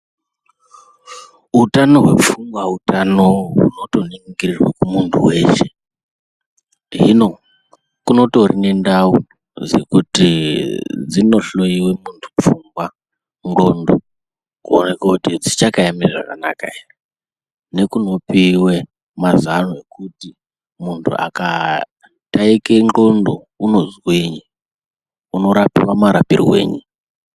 Utano hwepfungwa Utano hunotoningirirwe kumuntu weshe. Hino kunotori nendau dzekuti dzinohloyiwe muntu pfungwa, ndxondo kuonekwe kuti dzichakaeme zvakanaka ere nekunopiwe mazano ekuti muntu akataike ndxondo unozwinyi, unorapiwa marapirwenyi.